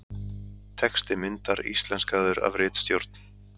Texti myndar íslenskaður af ritstjórn.